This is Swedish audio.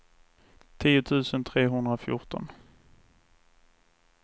tio tusen trehundrafjorton